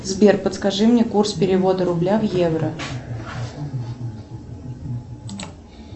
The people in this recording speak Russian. сбер подскажи мне курс перевода рубля в евро